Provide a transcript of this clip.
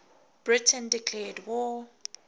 britain declared war